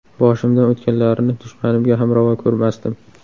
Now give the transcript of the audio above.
Boshimdan o‘tganlarini dushmanimga ham ravo ko‘rmasdim.